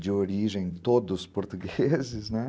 de origem todos portugueses, né?